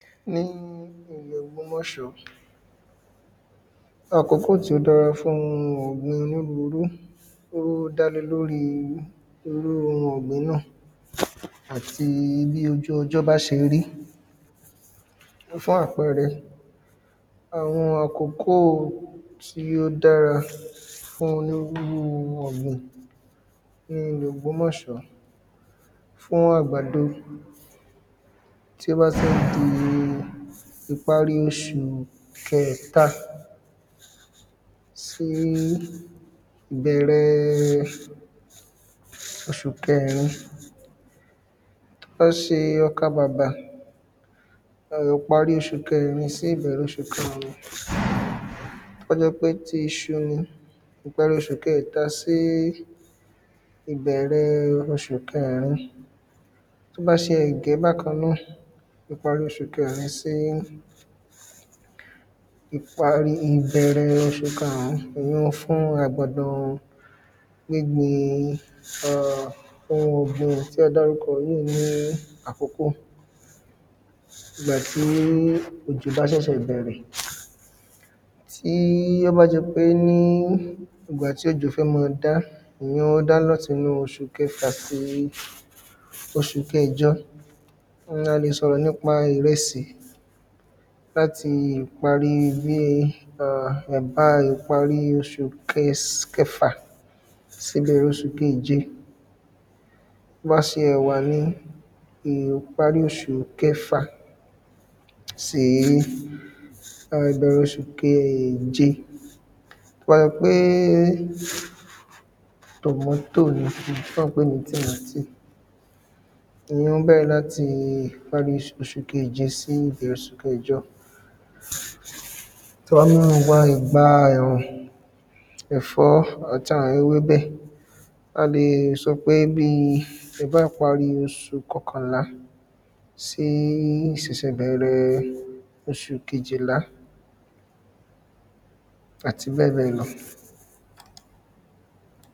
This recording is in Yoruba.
Ní ilẹ̀ ògbómọ̀ṣọ́ àkókò tí ó dára fún oun ọ̀gbìn onírúurú ó dá lè lórí irú oun ọ̀gbìn náà àti bí ojú ọjọ́ bá ṣe rí Fún àpẹẹrẹ àwọn àkókò tí ó dára fún onírúurú ọ̀gbìn ní ilẹ̀ ògbòmọ̀s̼ọ́ fún àgbàdo Tí ó bá tí ń di ìparí oṣù kẹta sí ìbẹ̀rẹ̀ oṣù kẹrin Tí ó bá ṣe ọkà bàbà ìparí oṣù kẹrin sí ìbẹ̀rẹ̀ oṣù kárùn Tí ó bá jẹ́ pé ti iṣu ni ìparí oṣù kẹta sí ìbẹ̀rẹ̀ oṣù kẹrin Tí ó bá ṣe ẹ̀gẹ́ bákan náà ìparí oṣù kẹrin sí ìparí ìbẹ̀rẹ̀ oṣù kárùn ìyíùn fún àgbàdo gbígbìn um oun ọ̀gbìn tí a dárúkọ yìí ní àkókò Ìgbà tí òjò bá ṣẹ̀sẹ̀ bẹ̀rẹ̀ Tí ó bá jẹ́ pé ní ìgbà tí òjò fẹ́ẹ́ máa dá ìyẹn ó da láti inú oṣù kẹfà sí oṣù kẹjo Oun ni a lè sọ̀rọ̀ nípa ìrẹsì láti ìparí bíi um ẹ̀bá ìparí oṣù kẹs kẹfà sí ìbẹ̀rẹ̀ oṣù keje Tí ó bá ṣe ẹ̀wà ni ìparí oṣù kẹfà sí um ìbẹ̀rẹ̀ oṣù keje Tí ó bá jẹ́ pé tomotoe ni èyí tí à ń pè ní tìmátì ìyíùn bẹ̀rẹ̀ láti ìparí oṣù keje sí ìbẹ̀rẹ̀ oṣù kẹjọ Ti àwọn ìgbà ẹ̀rùn ẹ̀fọ́ àti àwọn ewébẹ̀ a lè sọ pé bíi ìparí oṣù kọkànlàá sí iṣẹ̀ṣẹ̀bẹ̀rẹ̀ oṣù kejìlá àti bẹ́ẹ̀bẹ́ẹ̀ lọ